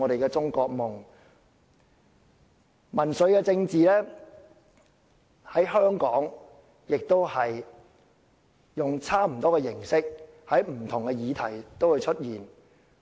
在香港，民粹政治亦以差不多形式在不同議題出現。